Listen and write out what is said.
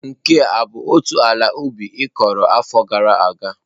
Nke a ọ bụ otu ala ubi ị kụrụ n'afọ gara aga?